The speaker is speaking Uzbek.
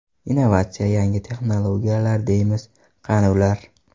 Innovatsiya, yangi texnologiyalar deymiz, qani ular?